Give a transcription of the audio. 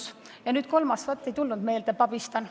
Ja vaat see kolmas ei tule meelde – pabistan.